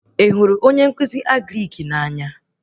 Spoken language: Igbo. Ị hụrụ onye nkụzi Agrịk na-anya?